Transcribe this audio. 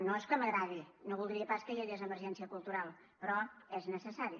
no és que m’agradi no voldria pas que hi hagués emergència cultural però és necessari